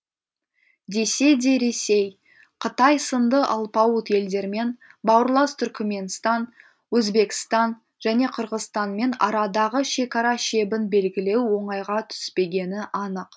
десе де ресей қытай сынды алпауыт елдермен бауырлас түркіменстан өзбекстан және қырғызстанмен арадағы шекара шебін белгілеу оңайға түспегені анық